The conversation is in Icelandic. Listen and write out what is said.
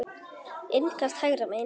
Innkast hægra megin.